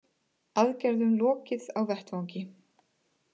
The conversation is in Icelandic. Aðgerðum lokið á vettvangi